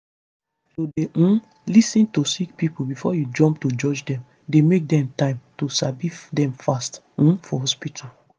to dey um lis ten to sick pipo before u jump to judge dem dey make dem time to sabi dem fast um for hospitu